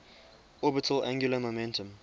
orbital angular momentum